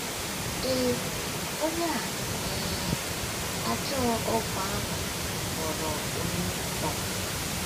Ee, onye a um ajọ ọgwụ ahụ ghọrọ Onye Kraịst. um